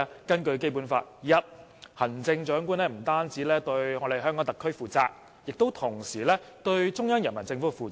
根據《基本法》：第一，行政長官不單對香港特區負責，亦同時對中央人民政府負責。